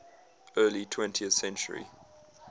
early twentieth century